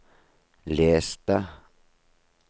les det